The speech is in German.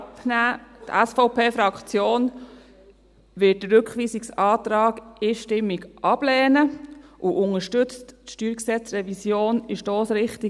Die SVP-Fraktion wird den Rückweisungsantrag einstimmig ablehnen und unterstützt die StG-Revision in der vorliegenden Stossrichtung.